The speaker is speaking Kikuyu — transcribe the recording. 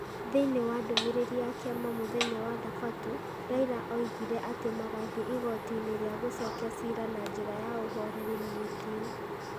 Thĩinĩ wa ndũmĩrĩri ya kĩama mũthenya wa Thabatũ, Raila oigire atĩ magũthiĩ igoti-inĩ rĩa gũcokia ciira na njĩra ya ũhoreri na gĩtĩo,